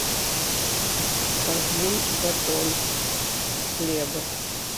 один батон хлеба